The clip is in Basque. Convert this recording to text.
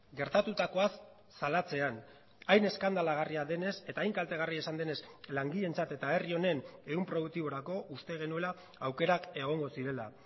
gertatutakoaz salatzean hain eskandalagarria denez eta hain kaltegarria izan denez langileentzat eta herri honen ehun produktiborako uste genuela aukerak egongo zirela